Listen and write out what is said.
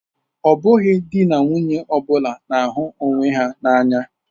Ọ bụghị di na nwunye ọ bụla na-ahụ onwe ha n'anya.